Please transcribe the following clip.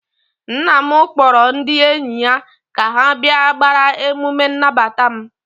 nna m kpọrọ ndị enyi ya ka ha bịa gbaara emume nnabata m